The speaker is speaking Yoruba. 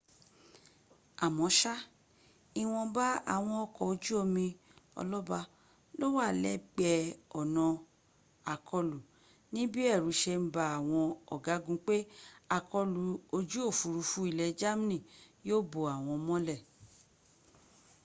amọ́ṣá ìwọ̀nba àwọn ọkọ̀ ojú omi ọlọ́ba ló wà lẹ́gbẹ̀ẹ́ ọ̀nà àkọlù níbí ẹ̀rù se ń ba àwọn ọ̀gágun pé àkọlù ojú òfúrufú ilẹ̀ germany yíó bo àwọn mọ́lẹ